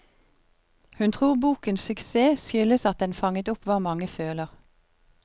Hun tror bokens suksess skyldes at den fanget opp hva mange føler.